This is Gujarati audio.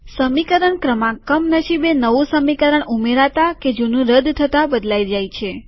સમીકરણ ક્રમાંક કમનસીબે નવું સમીકરણ ઉમેરાતા કે જુનું રદ થતા બદલાય જાય છે